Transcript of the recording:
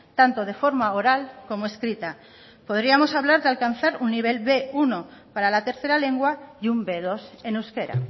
tanto de forma oral como escrita podríamos hablar de alcanzar un nivel de be uno para la tercera lengua y un be dos en euskera